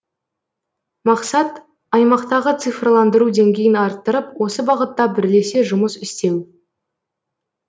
мақсат аймақтағы цифрландыру деңгейін арттырып осы бағытта бірлесе жұмыс істеу